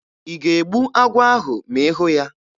Ị ga-egbu agwọ ahụ ma ị hụ ya?